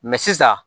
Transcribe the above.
sisan